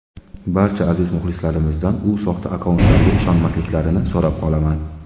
Barcha aziz muxlislarimdan u soxta akkauntlarga ishonmasliklarini so‘rab qolaman.